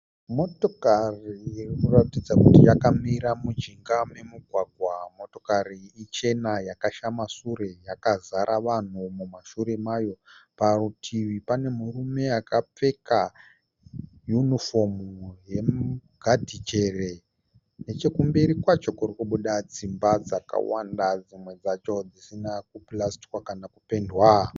Motokari iri kuratidza kuti yakamira mujinga momugwagwa. Motokari iyi ichena yakashama shure yakazara vanhu mumashure mayo. Parutivi pane murume akapfeka yunifomu yemugadhijere. Nechekumberi kwacho kuri kubuda dzimba dzakawanda dzimwe dzacho dzisina kupurasitwa kana kupendwa.